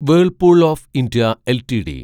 Whirlpool of India LTD